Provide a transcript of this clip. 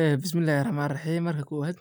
Ee bismilah raxmani raxim marka kowaad